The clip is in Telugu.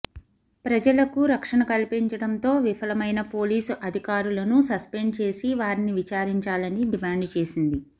ప్రజలకు రక్షణ కల్పించడంతో విఫలమైన పోలీసు అధికారులను సస్పెండ్ చేసి వారిని విచారించాలని డిమాండు చేసింది